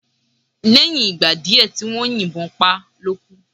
Lẹ́yìn ìgbà díè tí wón yín bon pá lókú